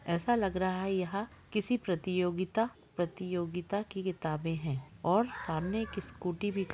ऐसा लग रहा है यहां किसी प्रतियोगिता प्रतियोगिता की किताबे है और सामने एक स्कूटी भी--